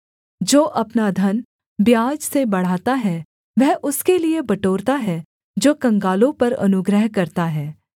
जो अपना धन ब्याज से बढ़ाता है वह उसके लिये बटोरता है जो कंगालों पर अनुग्रह करता है